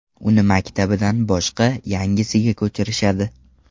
Uni maktabidan boshqa, yangisiga ko‘chirishadi.